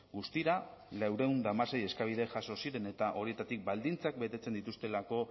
guztira laurehun eta hamasei eskabide jaso ziren eta horietatik baldintzak betetzen dituztelako